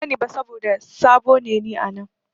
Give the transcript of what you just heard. Ban sani ba saboda sabo ne ni a nan.